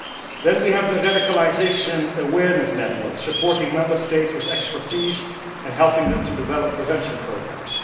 Then we have the Radicalisation Awareness Network supporting Member States with expertise and helping them to develop prevention programmes.